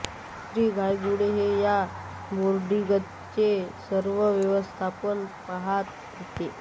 श्री धायगुडे हे या बोर्डीगचे सर्व व्यवस्थापन पहात होते